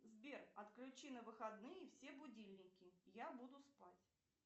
сбер отключи на выходные все будильники я буду спать